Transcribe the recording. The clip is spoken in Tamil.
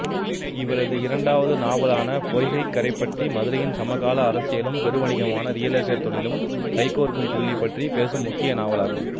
இவரது இரண்டாவது நாவலான பொய்கைக்கரைப்பட்டி மதுரையின் சமகால அரசியலும் பெருவணிகமான ரியல் எஸ்டேட் தொழிலும் கைகோர்க்கும்புள்ளிப்பற்றிப் பேசும் முக்கிய நாவலாகும்